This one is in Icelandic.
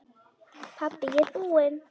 Pabbi ég er búinn!